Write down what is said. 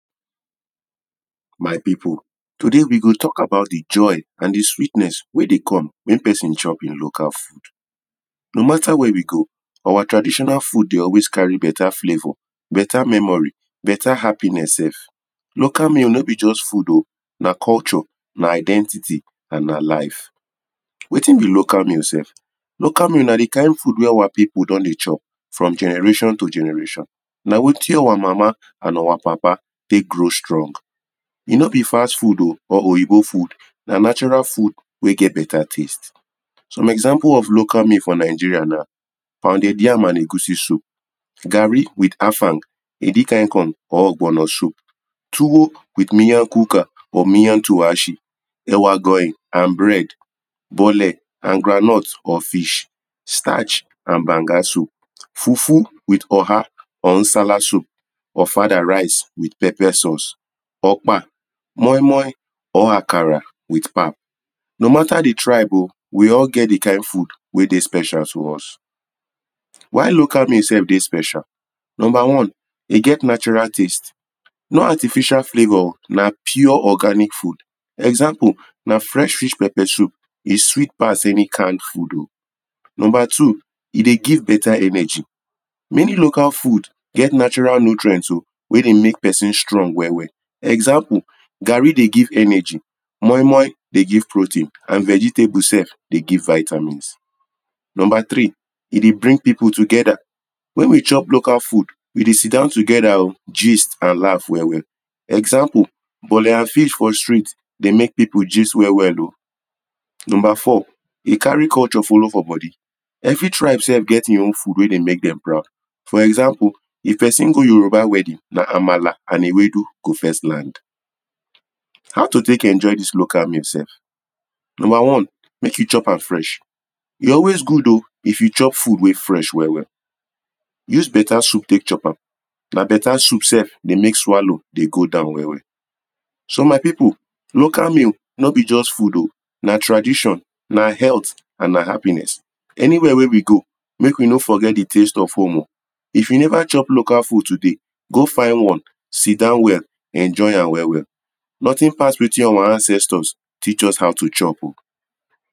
my people today we go talk about the joy and the sweetness wey de come when person chop him local food no matter where you go our traditional food dey always carry better flavour, better memory better happiness sef. local meal no be just food o na culture na identity and na life. watin be local meal sef? local meal na the kind food wey our people don the chop from generation to generation na watin our mama and our papa take go strong e no be fast food o or oyibo food na natural food wey get better taste. some example of local meal for Nigeria na pounded yam and egusi soup garri with afang edikaikong or ogbono soup tuwo with miyan kuka or miyan taushe yawa grain and bread bole and groundnuts or fish starch and banga soup fufu with oha or Nsala soup Ofada rice with pepper sauce Ogpa, Moi-moi Akara with Pap. no matter the tribe o we all get the kind food wey de special to us. why local meal sef de special? number one, e get natural taste no artificial flavour na pure organic food example na fresh fish pepper soup e sweet pass any kind food o number two, e de give better energy many local food get natural nutrient o wey de make person strong well well example, garri de give energy moi-moi de give protain and vegetable sef de give vitamins. number three, e de bring people together when we chop local food we de sitdon together o, gist and laugh well well example, bole and fish for street de make people gist well well o. Number four, e carry culture follow for body every tribe sef get him own food wey de make them proud for example, if person go yoruba wedding na Amala and Ewedu go first land. How to take enjoy this local meal sef? Number one, make you chop am fresh e always good o if you chop food we fresh well well use better soup take chop am na better soup sef de make swallow de go down well well So my people, local meal no be just food o, na tradition, na health, and na happiness. Anywhere wey we go make we no forget the things of home o if you never chop local food, today go find one, sitdon well, enjoy am well well. Nothing pass watin our ancestors teach us how to chop o.